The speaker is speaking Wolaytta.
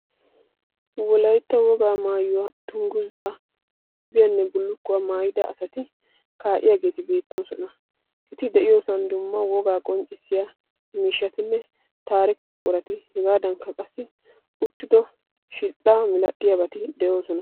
Wolayitta wogaa maayuwa dungguza, gaabiyanne bullukkuwa maayida asati kaa'iyageeti beettoosona. Eti de'iyoosan dumma wogaa qonccissiya miishshatinne taarike buqurati heegaadankka qassi uttido shixxaa milatiyabati de'oosona.